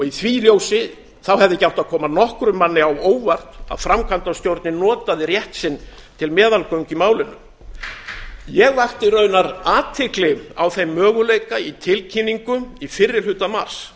í því ljósi hefði ekki átt að koma nokkrum manni á óvart að framkvæmdastjórnin noti rétt sinn til meðalgöngu í málinu ég vakti raunar athygli á þeim möguleika í tilkynningu í fyrri hluta mars